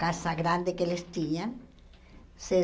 Casa grande que eles tinham. Se